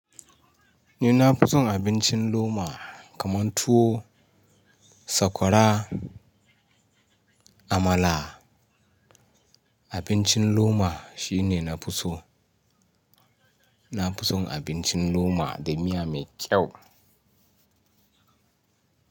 Ni na fi son abincin loma kamar tuwo, sakwara, amala. Abincin loma shine na fi so. Na fi son abincin loma da miya mai kyau.